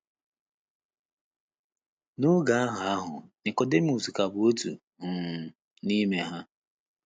N’oge ahụ ahụ, Nikọdimọs ka bụ “ otu um n’ime ha. ”